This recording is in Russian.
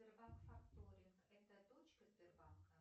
сбербанк факторинг это точка сбербанка